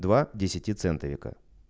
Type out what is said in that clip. два десятицентовика